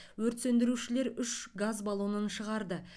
өрт сөндірушілер үш газ баллонын шығарды